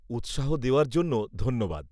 -উৎসাহ দেওয়ার জন্য ধন্যবাদ।